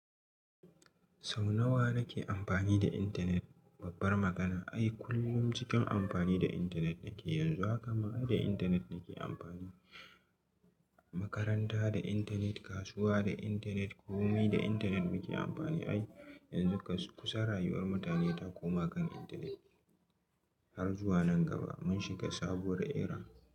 Sau nawa nake amapani da intanet? Babbar magana. Ai kullum cikin amfani da intanet nake yanzu haka ma da intanet nake amfani. Makaranta da intanet, kasuwa da intanet, ƙome da intanet muke amfani. Ai yanzu kusan rayuwar mutane ta koma kan intanet. Har zuwa nan gaba mun shiga sabuwar era.